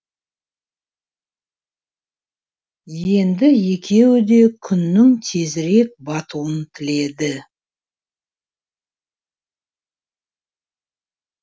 енді екеуі де күннің тезірек батуын тіледі